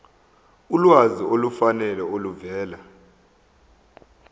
ulwazi olufanele oluvela